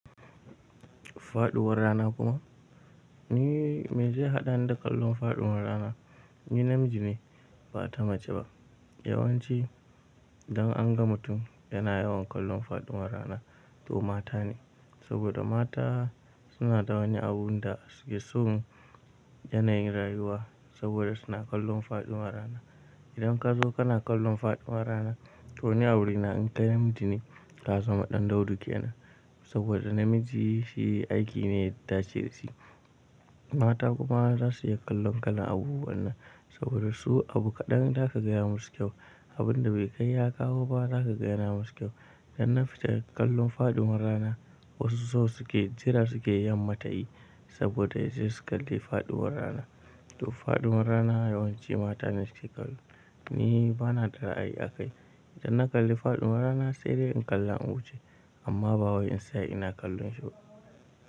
Faɗuwar rana kuma, me zai haɗani da kallon faɗuwar rana? Ni namiji ne ba ta mace ba. Yawanci idan an ga mutum yana yawan kallon faɗuwar rana to mata ne. Saboda mata suna da wani abun da suke son yanayin rayuwa saboda suna kallon faɗuwar rana. Idan ka zo kana kallon faɗuwar rana to ni awuri na in kai namiji ne ka za ma ɗandaudu ke nan. Saboda namiji shi aiki ne ya dace dashi, mata kuma za su iya kallon kalan abubuwan nan saboda su abu kaɗan za ka gaya musu kyau. Abun da bai kai ya kawo ba za ka gaya na musu kyau. Dan na fita kallon faɗuwar rana wasu sau suke jira suke yamma ta yi saboda yanzu su kalli faɗuwar rana. To faɗuwar rana yawanci mata ne suke kallo. Ni bana da ra'ayi akai. Idan na kalli faɗuwar rana sai dai in kalla in wuce amma ba wai in tsaya ina kallon shi ba.